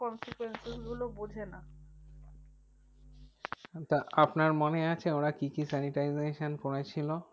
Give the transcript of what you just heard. তা আপনার মনেআছে ওরা কি কি sanitization করেছিল?